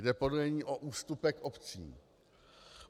Jde podle ní o ústupek obcím.